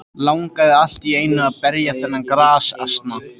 Langaði allt í einu til að berja þennan grasasna.